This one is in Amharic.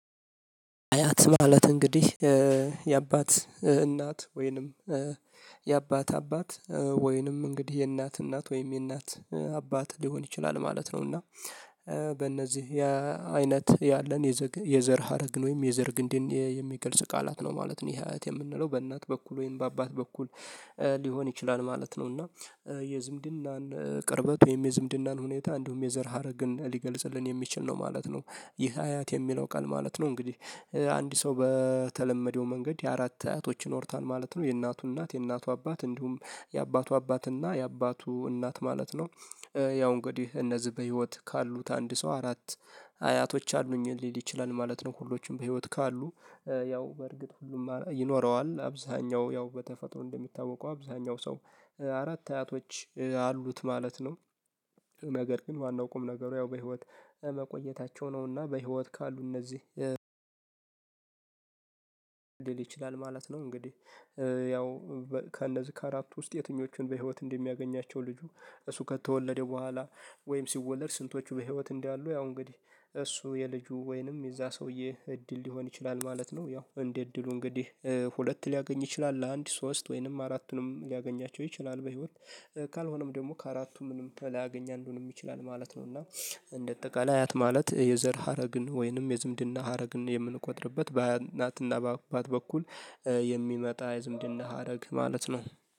አያት ማለት እንግዲህ የአባት እናት ወይንም የአባት አባት ወይንም እንግዲህ የእናት እናት ወይም የእናት አባት ሊሆን ይችላል ማለት ነው። እና በእነዚህ አይነት ያለን የዘር ሀረግን ወይም የዘር ግንዴ የሚገልጽ ቃላት ነው ማለት ነው። ይሄ አያት የምንለው በእናት በኩል ወይም በአባት በኩል ሊሆን ይችላል ማለት ነው። እና የዝምድናን ቅርበት ወይም የዝምድናን ሁኔታ እንደውም የዘር ሀረግን ሊገልጽልን የሚችል ነው ማለት ነው። ይህ አያት የሚለው ቃል ማለት ነው። እንግዲህ አንድ ሰው በተለመደው መንገድ አራት አያቶች ይኖሩታን ማለት ነው የእናቱ እናት የእናቱ አባት እንዲሁም የአባቱ አባትና የአባቱ እናት ማለት ነው። ያው እንግዲህ እነዚህ በህይወት ካሉት አንድ ሰው አራት አያቶች አሉኝ ሊል ይችላል ማለት ነው። ሁሎችንም በህይወት ካሉ ያው በእርግጥ ሁሉም ይኖረዋል አብዛኛው ያው በተፈጥሮ እንደሚታወቀው አብዛኛው ሰው አራት አያቶች አሉት ማለት ነው። ነገር ግን ዋናው ቁም ነገሩ ያው በህይወት መቆየታቸው ነውና በህይወት ካሉ እነዚህ ሊል ይችላል ማለት ነው። እንግዲህ ያው ከእነዚህ ከአራቱ ውስጥ የትኞቹን በህይወት እንደሚያገኛቸው ልጁ እሱ ከተወለደ በኋላ ወይም ሲወለድ ስንቶቹ በህይወት እንዳሉ? ያው እንግዲህ እሱ የልጁ ወይንም የዛ ሰውዬ እድል ሊሆን ይችላል ማለት ነው። ያው እንዴት እድሉ እንግዲህ ሁለት ሊያገኝ ይችላል ለአንድ ሶስት ወይንም አራቱንም ሊያገኛቸው ይችላል በህይወት ካልሆነም ደግሞ ከአራቱም ምንም ላያገኝ አንዱንም ይችላል ማለት ነው። እና እንደጠቃላይ አያት ማለት የዘር ሀረግን ወይንም የዝምድና ሀረግን የምንቆጥርበት በእናትና በአባት በኩል የሚመጣ ዝምድና ሀረግ ማለት ነው